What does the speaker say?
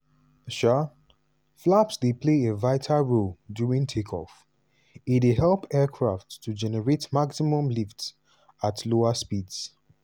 however one however one senior pilot say e dey rare for bird hit to dey catastrophic "unless e affect both engines".